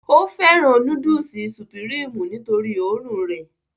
ó fẹ́ràn núdùsì sùpìrímù nítorí òórùn rẹ̀